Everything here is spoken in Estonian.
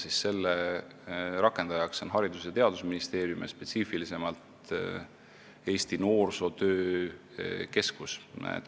Selle süsteemi rakendaja on Haridus- ja Teadusministeerium, spetsiifilisemalt Eesti Noorsootöö Keskus.